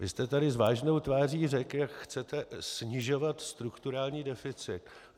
Vy jste tu s vážnou tváří řekl, jak chcete snižovat strukturální deficit.